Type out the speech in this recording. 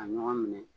A ɲɔgɔn minɛ